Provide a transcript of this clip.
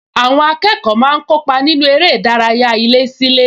Àwọn akẹ́kọ̀ọ́ máa ń kópa nínú eré ìdárayá ilésílé